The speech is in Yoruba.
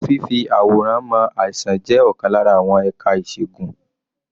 Fífì àwòrán mọ àìsàn jẹ́ ọ̀kan lára àwọn ẹ̀ka ìṣègùn.